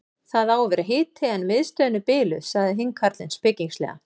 Það á að vera hiti en miðstöðin er biluð sagði hinn karlinn spekingslega.